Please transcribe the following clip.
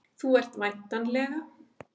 Þú ert væntanlega